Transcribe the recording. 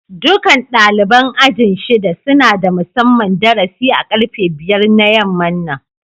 Dukan dalibain aji'n shida suna da musamman darasi a karfe biyar da yaman nan.